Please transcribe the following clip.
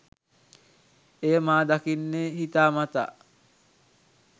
එය මා දකින්නේ හිතාමතා